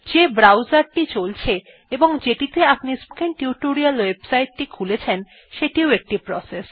যেই ব্রাউজার টি চলছে এবং যেটিতে আপনি স্পোকেন টিউটোরিয়াল ওয়েবসাইট টি খুলেছেন সেটিও একটি প্রসেস